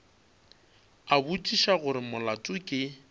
a botšiša gore molato ke